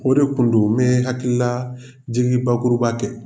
O de kun do hakili la Jigi ye bakuruba kɛ.